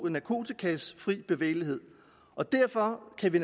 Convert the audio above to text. narkotikas fri bevægelighed og derfor kan vi